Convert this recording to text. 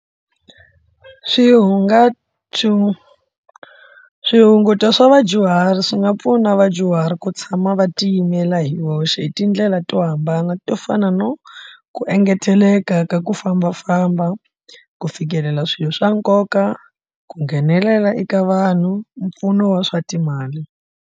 swihunguto swa vadyuhari swi nga pfuna vadyuhari ku tshama va tiyimela hi voxe hi tindlela to hambana to fana no, ku engeteleka ka ku fambafamba ku fikelela swilo swa nkoka, ku nghenelela eka vanhu, mpfuno wa swa timali.